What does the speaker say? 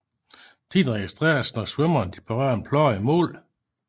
Tiden registreres når svømmerne berører en plade i mål